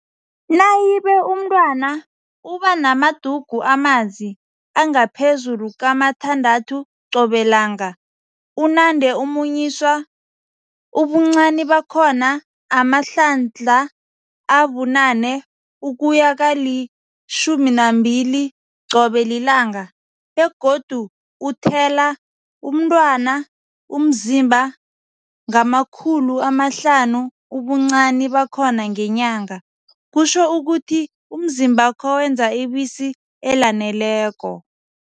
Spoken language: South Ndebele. Nayibe umntwana ubanamadugu amanzi angaphezulu kamathandathu qobelanga, unande amunyiswa, ubuncani bakhona amahlandla abu-8 ukuya kali-12 qobe lilanga, begodu uthela, umntwana, umzimba ngama-500g ubuncani bakhona ngenyanga, kutjho ukuthi umzimbakho wenza ibisi elaneleko.